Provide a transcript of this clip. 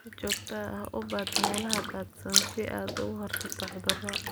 Si joogto ah u baadh meelaha daadsan si aad uga hortagto cudur.